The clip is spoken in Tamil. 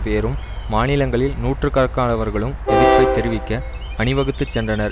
பேரும் மாநிலங்களில் நூற்றுக்கணக்கானவர்களும் எதிர்ப்பை தெரிவிக்க அணிவகுத்து சென்றனர்